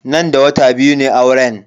Nan da wata biyu ne auren.